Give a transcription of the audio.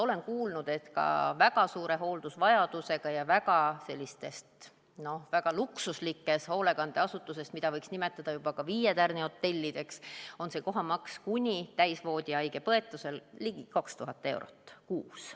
Olen kuulnud, et ka väga suure hooldusvajadusega inimesele ja väga luksuslikes hoolekandeasutuses, mida võiks nimetada ka juba viietärnihotellideks, on see koha maksumus täisvoodihaige põetusel ligi 2000 eurot kuus.